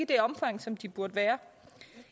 det omfang som de burde være